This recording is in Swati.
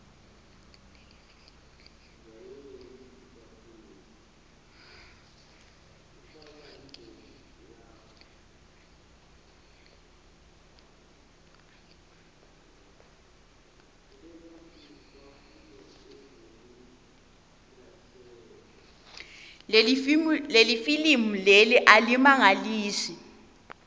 lelifilimu leli alimagniso